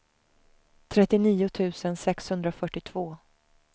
trettionio tusen sexhundrafyrtiotvå